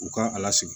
U kan a lasigi